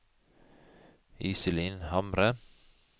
Iselin Hamre